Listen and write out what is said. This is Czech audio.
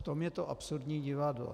V tom je to absurdní divadlo.